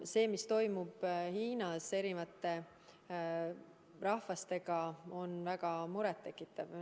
See, mis toimub Hiinas nimetatud rahvastega, on väga muret tekitav.